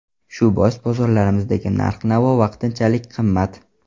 Shu bois bozorlarimizdagi narx-navo vaqtinchalik qimmat.